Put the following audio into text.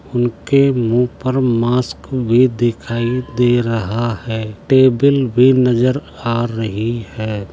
उनके मुंह पर मास्क भी दिखाई दे रहा है। टेबल भी नजर आ रही है।